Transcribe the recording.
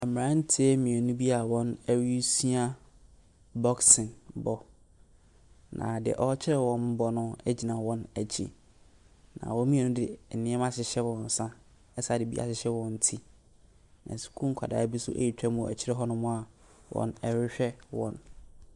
Mmeranteɛ mmienu bi a wɔresua boxing bɔ. Na deɛ ɔrekyerɛ wɔn bɔ no gyina wɔn akyi. Na wɔn mmienu de nneɛma ahyehyɛ wɔn nsa asane de bi ahyehyɛ wɔn ti. Na sukuu nkwasaa bu nso retwam wɔ akyire hɔnom a wɔrehwɛ wɔn.